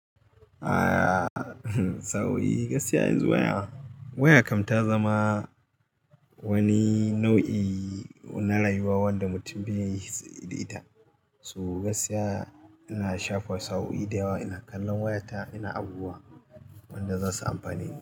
A'a, sauyi gaskiya izuwa waya. Waya kam ta zama wani nau'i na rayuwa wanda mutum bai yi sai da ita. So gaskiya ina shafa sa'o'i da yawa, ina kallon wayata ina abubuwa wanda za su amfaneni.